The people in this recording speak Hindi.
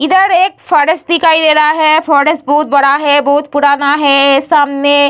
इधर एक फारेस्ट दिखाई दे रहा है फारेस्ट बहुत बड़ा है बहुत पुराना है सामने --